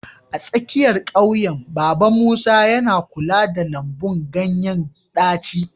A tsakiyar ƙauyen, Baba Musa yana kula da lambun ganyen ɗaci.